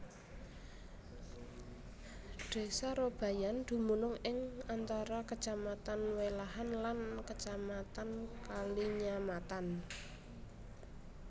Desa Robayan dumunung ing antara Kecamatan Welahan lan Kecamatan Kalinyamatan